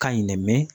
Ka ɲi dɛ mɛ